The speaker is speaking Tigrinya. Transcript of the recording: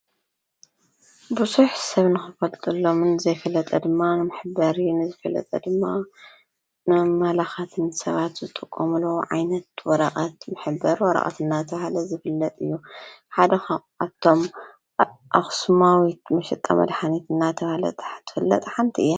ብዙሕ ሰብ ንኽበቕጠሎምን ዘይፈለጠ ድማ ንምሕበር ንዘይፈለጠ ድማ ምመላኻትን ሰባት ዝጡቖምሎ ዓይነት ወረቐት ምሕበር ወረቐት እዳተ ባሃለ ዘፍለጥ እዩ ሓደኻኣቶም ኣኽስማዊት ምሽጠ መድኃነት እናተ ሃለ ትፍለጥ ሓ ንት እየ።